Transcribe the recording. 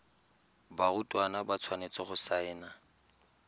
barutwana ba tshwanetse go saena